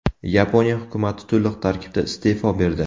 Yaponiya hukumati to‘liq tarkibda iste’fo berdi.